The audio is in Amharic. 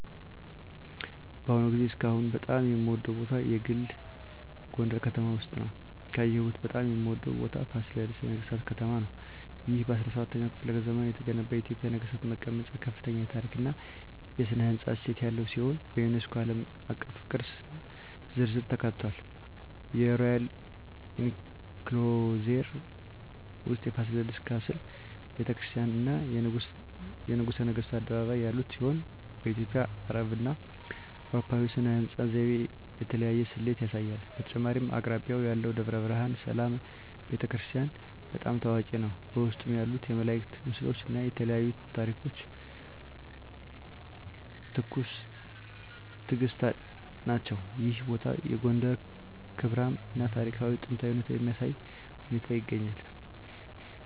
በአሁኑ ጊዜ እስካሁን በጣም የምወደዉ ቦታ የግል ጎንደረ ከተማ ውስጥ ነዉ። ካየሁት በጣም የምወደው ቦታ ፋሲለደስ የነገሥታት ከተማ ነው። ይህ በ17ኛው ክፍለ ዘመን የተገነባ የኢትዮጵያ ነገሥታት መቀመጫ ከፍተኛ የታሪክ እና ሥነ ሕንፃ እሴት ያለው ሲሆን፣ በዩኔስኮ ዓለም አቀፍ ቅርስ ዝርዝር ውስጥ ተካትቷል። የሮያል ኢንክሎዜር ውስጥ የፋሲለደስ ካስል፣ ቤተ ክርስቲያናት፣ እና የንጉሠ ነገሥቱ አደባባይ ያሉት ሲሆን፣ በኢትዮጵያ፣ አረብና አውሮፓዊ ሥነ ሕንፃ ዘይቤ የተለያየ ስሌት ያሳያል። በተጨማሪም አቅራቢያው ያለው ደብረ ብርሃን ሰላም ቤተ ክርስቲያን** በጣም ታዋቂ ነው፣ በውስጡ ያሉት የመላእክት ምስሎች እና የተለያዩ ታሪኳዊ ታሪኮች ትኩስ ትእግስት ናቸው። ይህ ቦታ የጎንደርን ክብራም እና ታሪካዊ ጥንታዊነት በሚያሳይ ሁኔታ ይገኛል።